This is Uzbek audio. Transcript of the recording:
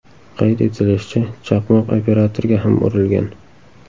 Qayd etilishicha, chaqmoq operatorga ham urilgan.